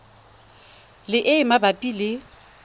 le e e mabapi le